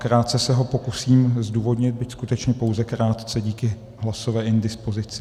Krátce se ho pokusím zdůvodnit, byť skutečně pouze krátce díky hlasové indispozici.